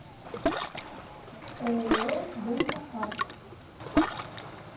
ооо дента арт